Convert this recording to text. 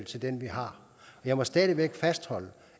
til den vi har jeg må stadig væk fastholde